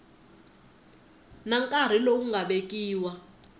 na nkarhi lowu nga vekiwa